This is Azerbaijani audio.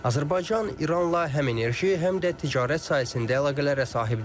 Azərbaycan İranla həm enerji, həm də ticarət sahəsində əlaqələrə sahibdir.